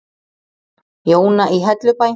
Jóna í Hellubæ.